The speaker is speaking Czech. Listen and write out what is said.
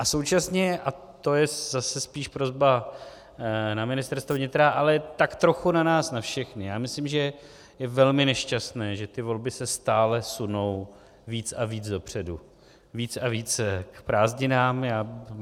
A současně, a to je zase spíš prosba na Ministerstvo vnitra, ale tak trochu na nás na všechny, já myslím, že je velmi nešťastné, že ty volby se stále sunou víc a víc dopředu, víc a víc k prázdninám.